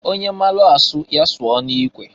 Onye maalụ asụ ya sụọ n'ikwe.